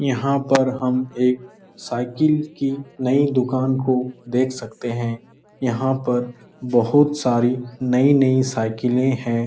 यहाँ पर हम एक साइकिल की नई दुकान को देख सकते हैं यहाँ पर बहोत सारी नई-नई साइकिलें हैं।